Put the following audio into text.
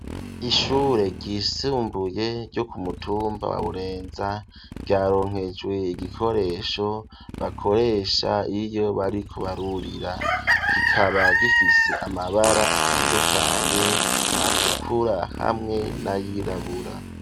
Ishure ryisimbuye ryo kumutumba wa burenza ryaronkejwe igikoresho bakoresha iyo bariko barurira kikaba gifise amabara atandukanye atukura hamwe n'ayirabura.